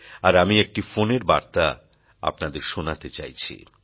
আর আমি একটি ফোনের বার্তা আপনাদের শোনাতে চাইছি